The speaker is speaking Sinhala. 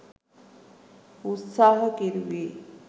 උත්සාහකෙරුවේ